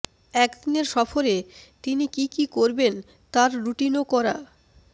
একদিনের সফরে তিনি কি কি করবেন তার রুটিনও করা